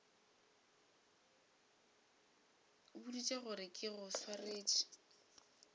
boditše gore ke go swaretše